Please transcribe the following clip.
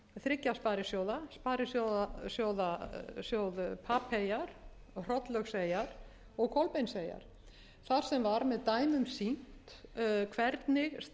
þriggja sparisjóða sparisjóð papeyjar hrollaugseyjar og kolbeinseyjar þar sem var með dæmum sýnt hvernig staða sparisjóðanna